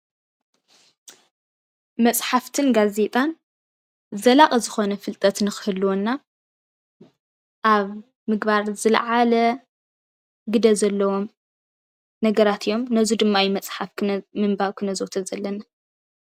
መፃሕፍትን ጋዜጣን ዘላቒ ዝኾነ ፍልጠት ንክህልወና ኣብ ምግባር ዝለዓለ ግደ ዘለዎም ነገራት እዮም። ነዚ ድማ እዩ መፅሓፍ ምንባብ ክነዘውትር ዘለና።